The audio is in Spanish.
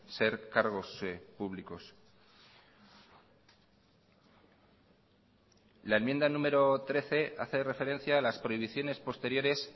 ser cargos públicos la enmienda número trece hace referencia a las prohibiciones posteriores